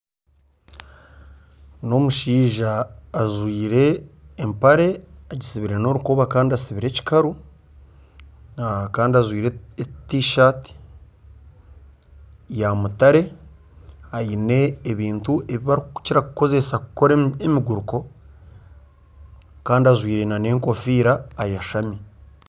N'omushaija ajwaire empare agitsibire n'orukoba kandi atsibire ekikaru kandi ajwaire tishati ya mutare aine ebintu ebi barikukira kukoresa emiguruko kandi ajwaire n'enkofiira ayeshami.